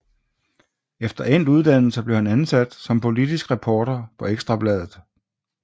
Efter endt uddannelse blev han ansat som politisk reporter på Ekstra Bladet